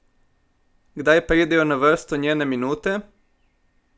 Kdaj pridejo na vrsto njene minute?